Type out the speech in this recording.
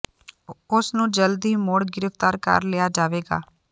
ਉਸ ਨੂੰ ਜਲਦ ਹੀ ਮੁਡ਼ ਗ੍ਰਫ਼ਿਤਾਰ ਕਰ ਲਆਿ ਜਾਵੇਗਾ